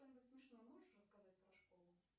что нибудь смешное можешь рассказать про школу